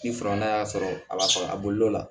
Ni y'a sɔrɔ a b'a sɔrɔ a bolila